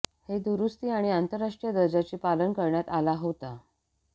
हे दुरुस्ती आणि आंतरराष्ट्रीय दर्जाची पालन करण्यात आला होता